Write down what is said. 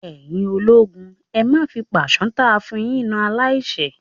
Ẹ̀yin ológun, ẹ má fi pàṣán táa fún un yín na aláìṣẹ̀!